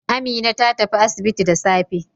Amina ta tafi asibiti da safe.